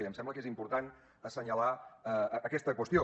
i em sembla que és important assenyalar aquesta qüestió